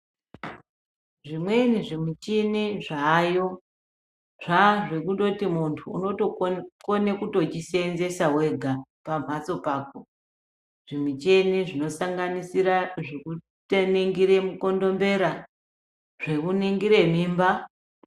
Zvimweni zvimichini zvayo zvazvekundoti muntu unokona kuzvisenzesa vega pamhatso pako. Zvimicheni zvekushandiswa kutanangira mukondombera zvekuringira mimba.